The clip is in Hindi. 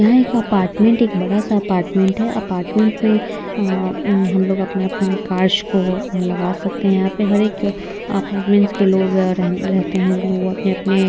यहाँ एक अपार्टमेंट एक बड़ा सा अपार्टमेंट है अपार्टमेंट में अअ अम्म हम लोग अपने अपने कार्स को यहाँ लगा सकते हैं। यहाँ पर हरेक अपार्टमेंट्स के लोग रहने रहते है लोग अपने-अपने --